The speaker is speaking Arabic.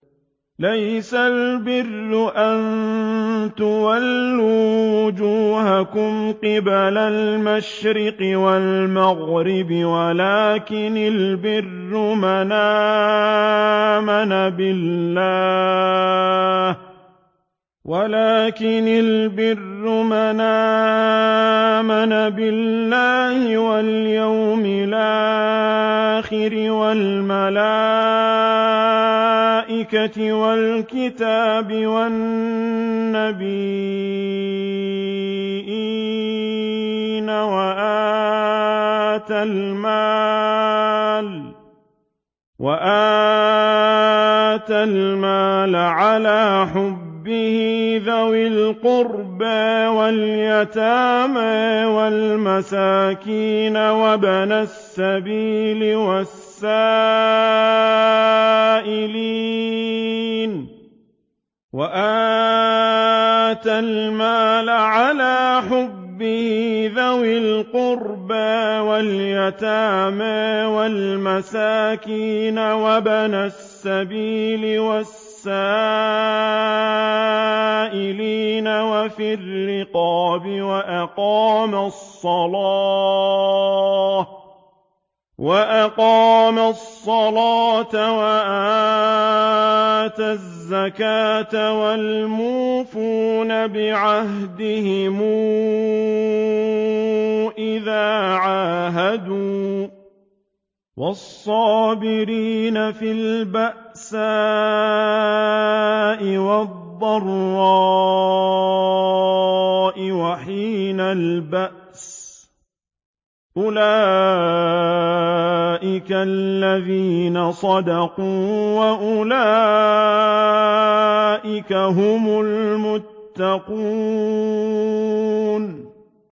۞ لَّيْسَ الْبِرَّ أَن تُوَلُّوا وُجُوهَكُمْ قِبَلَ الْمَشْرِقِ وَالْمَغْرِبِ وَلَٰكِنَّ الْبِرَّ مَنْ آمَنَ بِاللَّهِ وَالْيَوْمِ الْآخِرِ وَالْمَلَائِكَةِ وَالْكِتَابِ وَالنَّبِيِّينَ وَآتَى الْمَالَ عَلَىٰ حُبِّهِ ذَوِي الْقُرْبَىٰ وَالْيَتَامَىٰ وَالْمَسَاكِينَ وَابْنَ السَّبِيلِ وَالسَّائِلِينَ وَفِي الرِّقَابِ وَأَقَامَ الصَّلَاةَ وَآتَى الزَّكَاةَ وَالْمُوفُونَ بِعَهْدِهِمْ إِذَا عَاهَدُوا ۖ وَالصَّابِرِينَ فِي الْبَأْسَاءِ وَالضَّرَّاءِ وَحِينَ الْبَأْسِ ۗ أُولَٰئِكَ الَّذِينَ صَدَقُوا ۖ وَأُولَٰئِكَ هُمُ الْمُتَّقُونَ